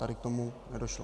Tady k tomu nedošlo.